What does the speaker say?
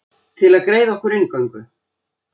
Til að greiða okkur inngöngu.